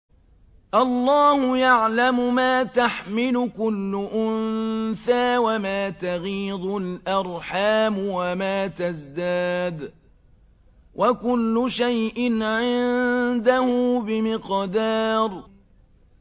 اللَّهُ يَعْلَمُ مَا تَحْمِلُ كُلُّ أُنثَىٰ وَمَا تَغِيضُ الْأَرْحَامُ وَمَا تَزْدَادُ ۖ وَكُلُّ شَيْءٍ عِندَهُ بِمِقْدَارٍ